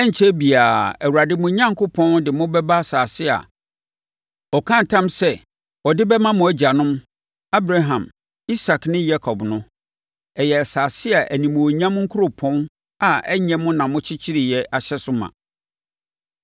Ɛrenkyɛre biara, Awurade mo Onyankopɔn de mo bɛba asase a ɔkaa ntam sɛ ɔde bɛma mo agyanom Abraham, Isak ne Yakob no. Ɛyɛ asase a animuonyam nkuropɔn a ɛnyɛ mo na mokyekyereeɛ ahyɛ so ma.